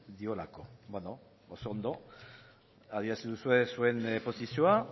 diolako beno oso ondo adierazi duzue zuen posizioa